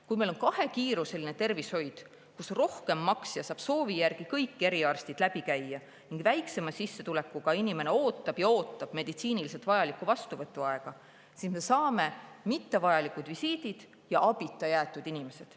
Kui meil on kahekiiruseline tervishoid, kus rohkem maksja saab soovi järgi kõik eriarstid läbi käia ning väiksema sissetulekuga inimene ootab ja ootab meditsiiniliselt vajaliku vastuvõtu aega, siis me saame mittevajalikud visiidid ja abita jäetud inimesed.